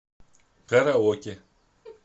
караоке